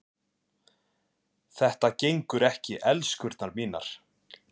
Þetta gengur ekki, elskurnar mínar.